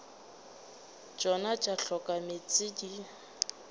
tšona tša hloka meetse di